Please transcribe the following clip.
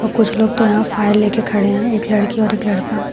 कुछ लोग तो यहां फाइल लेके खड़े हैं एक लड़की और एक लड़का।